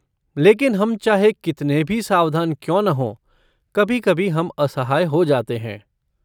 लेकिन हम चाहे कितने भी सावधान क्यों न हों, कभी कभी हम असहाय हो जाते हैं।